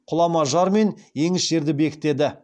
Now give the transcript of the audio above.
құлама жар мен еңіс жерді бекітеді